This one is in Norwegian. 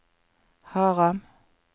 Haram